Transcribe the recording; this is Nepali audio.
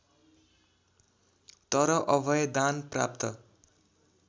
तर अभयदान प्राप्त